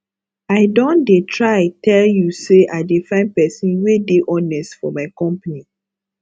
i don dey try tell you say i dey find person wey dey honest for my company